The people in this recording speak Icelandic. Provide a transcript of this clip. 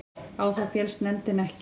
Á það féllst nefndin ekki